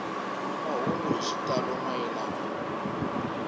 kuma mahungu hi xitalo mayelana